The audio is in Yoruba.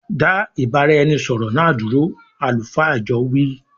Da ìbáraẹnisọọ̀rọ̀ náà dúró "àlùfáà ìjọ wii".